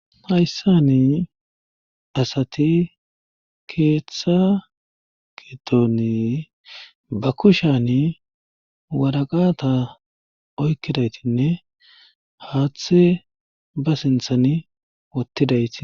Hayssani asati keeththa gidoni ba kushan waraqata oykkidaytinne haaththe ba sinthan wottidayti.